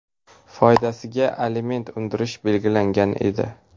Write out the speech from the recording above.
foydasiga aliment undirish belgilangan edi.